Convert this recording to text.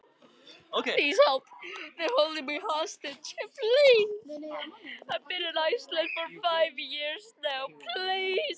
Ég er fullfær um að fást einsamall við illþýði!